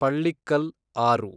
ಪಳ್ಳಿಕ್ಕಲ್ ಆರು